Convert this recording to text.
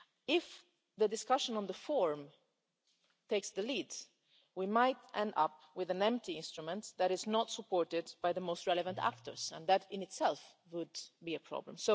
If the discussion on the forum takes the lead, we might end up with an empty instrument that is not supported by the most relevant actors, and that in itself would be a problem.